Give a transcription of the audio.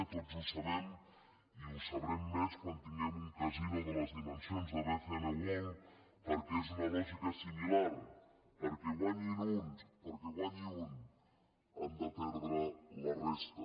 tots ho sabem i ho sabrem més quan tinguem un casino de les dimensions de bcn world perquè és una lògica similar perquè guanyi un han de perdre la resta